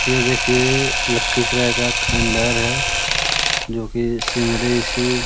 ये देखिए लखीसराय का खंडहर है जो की सिमली सी --